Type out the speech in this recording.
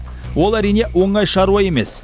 ол әрине оңай шаруа емес